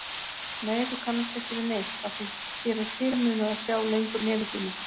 Nei, þú kannast ekki við neitt, afþví þér er fyrirmunað að sjá lengur nefi þínu.